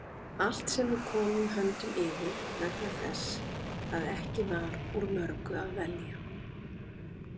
Allt sem við komum höndum yfir, vegna þess að ekki var úr mörgu að velja.